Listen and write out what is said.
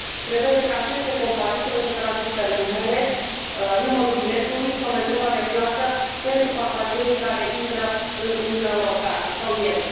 prevede că aceste companii trebuie să transmită numele, numărul biletului sau metoda de plată pentru pasagerii care intră în Uniunea Europeană sau ies.